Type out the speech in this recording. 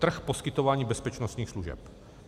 Trh poskytování bezpečnostních služeb.